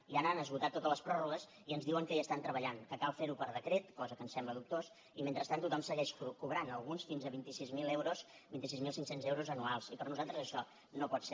ja han esgotat totes les pròrrogues i ens diuen que hi estan treballant que cal fer ho per decret cosa que ens sembla dubtós i mentrestant tothom segueix cobrant alguns fins a vint sis mil euros vint sis mil cinc cents euros anuals i per nosaltres això no pot ser